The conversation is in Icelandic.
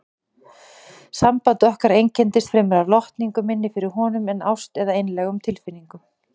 Samband okkar einkenndist fremur af lotningu minni fyrir honum en ást eða einlægum tilfinningum.